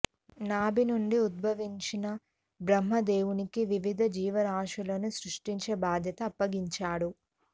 నాభి నుండి ఉద్భవించిన బ్రహ్మ దేవుడికి వివిధ జీవరాశులనీ సృష్టించే బాధ్యత అప్పగించాడు